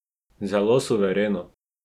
Zelo suvereno!